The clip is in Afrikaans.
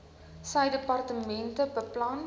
sy departement beplan